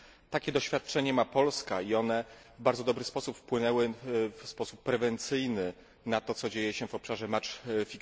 Takie doświadczenia ma Polska i one w bardzo dobry sposób wpłynęły, w sposób prewencyjny, na to, co dzieje się w obszarze ustawiania meczów.